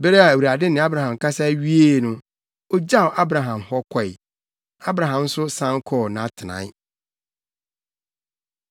Bere a Awurade ne Abraham kasa wiee no, ogyaw Abraham hɔ kɔe. Abraham nso san kɔɔ nʼatenae.